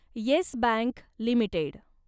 yes Bank limited